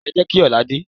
Ẹ jẹ́ kí ọ̀la dé.